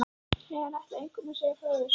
Nei, hann ætlaði engum að segja frá þessu.